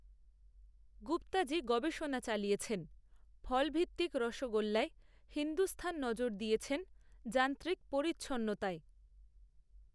গুপ্তাজি গবেষণা চালিয়েছেনফলভিত্তিক রসগোল্লায়হিন্দুস্থান নজর দিয়েছেনযান্ত্রিক পরিচ্ছন্নতায়